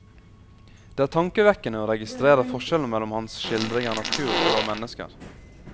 Det er tankevekkende å registrere forskjellen mellom hans skildring av natur og av mennesker.